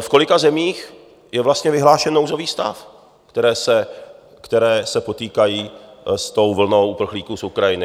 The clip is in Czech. v kolika zemích je vlastně vyhlášen nouzový stav, které se potýkají s tou vlnou uprchlíků z Ukrajiny.